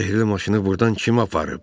Sehrli maşını burdan kim aparıb?